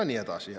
Ja nii edasi.